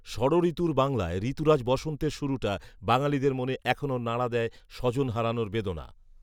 ষঢ়ঋতুর বাংলায় ঋতুরাজ বসন্তের শুরুটা বাঙালিদের মনে এখনো নাড়া দেয় স্বজন হারানোর বেদনা